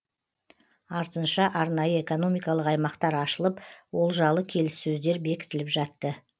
артынша арнайы экономикалық аймақтар ашылып олжалы келіссөздер бекітіліп жатты